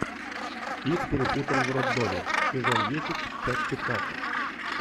их перепутали в роддоме сезон десять часть пятнадцать